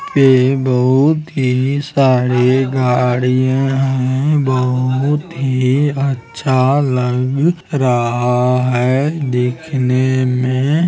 ये बहुत ही सारे गाड़ियाँ है बहुत ही अच्छा लग रहा है देखने में।